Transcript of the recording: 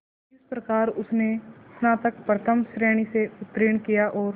इस प्रकार उसने स्नातक प्रथम श्रेणी से उत्तीर्ण किया और